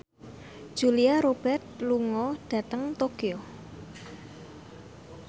Julia Robert lunga dhateng Tokyo